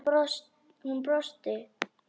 Hún brosti.